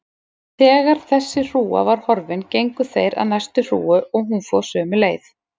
Þegar þessi hrúga var horfin gengu þeir að næstu hrúgu og hún fór sömu leið.